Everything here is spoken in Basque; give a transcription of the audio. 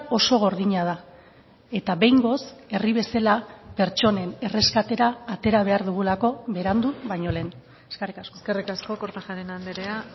oso gordina da eta behingoz herri bezala pertsonen erreskatera atera behar dugulako berandu baino lehen eskerrik asko eskerrik asko kortajarena andrea